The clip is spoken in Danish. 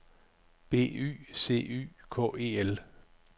B Y C Y K E L